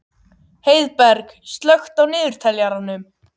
Heiðberg, slökktu á niðurteljaranum.